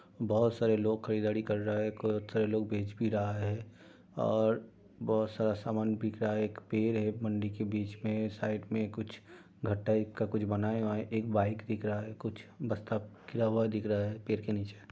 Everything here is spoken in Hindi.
बोहोत सारे लोग खरीदारी कर रहा है। बोहोत लोग बेच भी रहा है और बोहोत सारा सामान बिक रहा है। एक पेर है मंडी के बीच में साईड में कुछ घर टाईप का कुछ बना हुआ है। एक बाई दिख रहा है कुछ हुआ दिख रहा है पेड़ के नीचे।